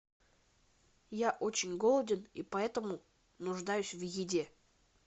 я очень голоден и поэтому нуждаюсь в еде